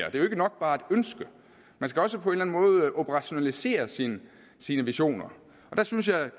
er jo ikke nok bare at ønske man skal også på en eller enden måde operationalisere sine sine visioner og der synes jeg